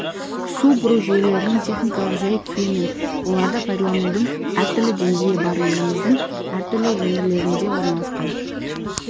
су бұру жүйелерінің техникалық жай-күйі мен оларды пайдаланудың әртүрлі деңгейі бар еліміздің әртүрлі өңірлерінде орналасқан